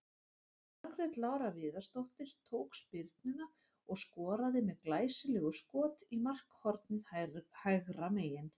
Margrét Lára Viðarsdóttir tók spyrnuna og skoraði með glæsilegu skot í markhornið hægra megin.